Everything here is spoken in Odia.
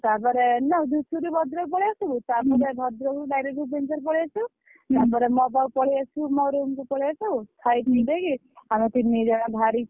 ତାପରେ ଧୂସୁରୀ ରୁ ଭଦ୍ରକ ପଳେଇ ଆସିବୁ। ତାପରେ ଭଦ୍ରକରୁ direct ଭୁବନେଶ୍ୱର ପଳେଇଆସିବୁ। ତାପରେ ମୋ ପାଖକୁ ପଳେଇଆସିବୁ ମୋ room କୁ ପଳେଇଆସିବୁ। ଖାଇ ପିଇ ଦେଇକି ଆମେ ତିନି ଜଣ ବାହାରିକି।